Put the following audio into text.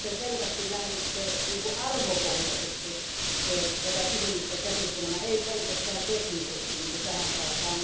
Te selvästi lähditte arvopohjaisesti tätä kysymystä käsittelemään eikä pelkästään teknisesti niin kuin tähän saakka.